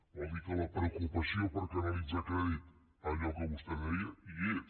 vol dir que la preocupació per canalitzar crèdit allò que vostè deia hi és